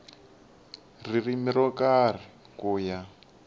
ririmi ro karhi ku ya